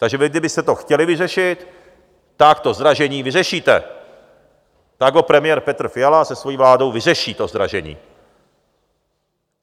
Takže vy kdybyste to chtěli vyřešit, tak to zdražení vyřešíte, tak ho premiér Petr Fiala se svoji vládou vyřeší, to zdražení.